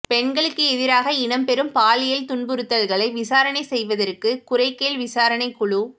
பெண்களுக்கு எதிராக இடம்பெறும் பாலியல் துன்புறுத்தல்களை விசாரணை செய்வதற்கு குறைகேள் விசாரணைக் குழு